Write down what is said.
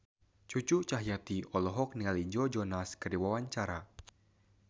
Cucu Cahyati olohok ningali Joe Jonas keur diwawancara